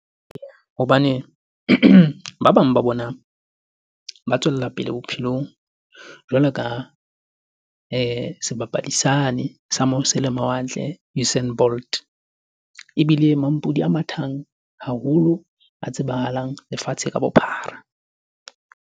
Hobane ba bang ba bona ba tswella pele bophelong jwalo ka sebapadi sane sa mose le mawatle Usain Bolt, ebile mampudi ya mathang haholo a tsebahalang lefatshe ka bophara.